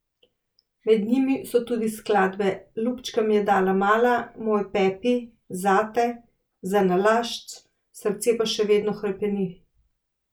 Med njimi so tudi skladbe Lupčka mi je dala mala, Moj Pepi, Zate, Zanalašč, Srce pa še vedno hrepeni.